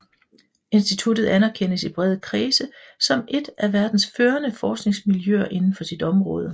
Instituttet anerkendes i brede kredse som et af verdens førende forskningsmiljøer inden for sit område